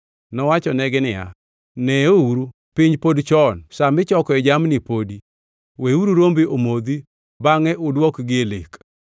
Nowachonegi niya, “Neuru, piny pod chon, sa michokoe jamni podi. Weuru rombe omodhi bangʼe uduokgi e lek.”